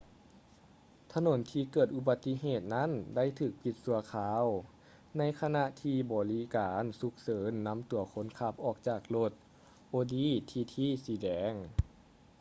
ຖະໜົນທີ່ເກີດອຸບັດຕິເຫດນັ້ນໄດ້ຖືກປິດຊົ່ວຄາວ ໃນຂະນະທີ່ບໍລິການສຸກເສີນນຳຕົວຄົນຂັບອອກຈາກລົດ audi tt ສີແດງ